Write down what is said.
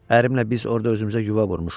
Ərimlə biz orda özümüzə yuva vurmuşuq.